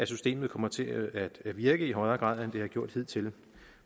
systemet kommer til at virke i højere grad end det har gjort hidtil